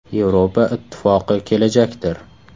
Yevropa Ittifoqi kelajakdir.